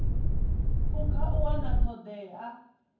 phukha u wana ṱho ḓea